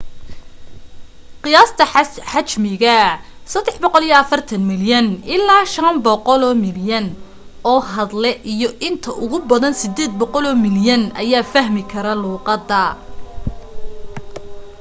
qiyaasta xajmiga l 340 milyan ilaa 500 milyan oo hadle iyo inta ugu badan 800 milyan ayaa fahmi kara luuqada